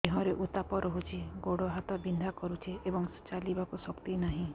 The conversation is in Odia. ଦେହରେ ଉତାପ ରହୁଛି ଗୋଡ଼ ହାତ ବିନ୍ଧା କରୁଛି ଏବଂ ଚାଲିବାକୁ ଶକ୍ତି ନାହିଁ